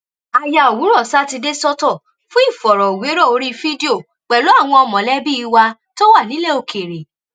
a ya òwúrọ̀ sátidé sọ́tọ̀ fún ìfọ̀rọ̀wérọ̀ orí fídíò pẹ̀lú àwọn mọ̀lẹ́bí wa tó wà nílẹ̀ òkèèrè